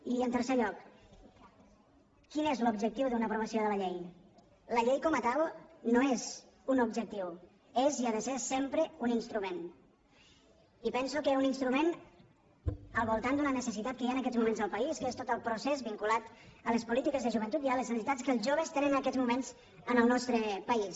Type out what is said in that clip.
i en tercer lloc quin és l’objectiu de l’aprovació de la llei la llei com a tal no és un objectiu és i ha de ser sempre un instrument i penso que un instrument al voltant d’una necessitat que hi ha en aquests moments al país que és tot el procés vinculat a les polítiques de joventut i a les necessitats que els joves tenen en aquests moments en el nostre país